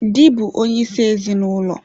Dị bụ onyeisi ezinụlọ.